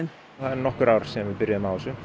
það eru nokkur ár síðan við byrjuðum á þessu